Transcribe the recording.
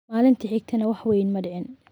Maalintii xigtayna wax weyn ma dhicin.